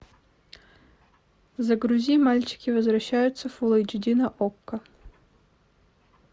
загрузи мальчики возвращаются фул эйч ди на окко